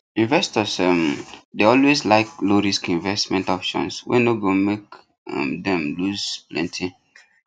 investors um dey always like lowrisk investment options wey no go make um them loose plenty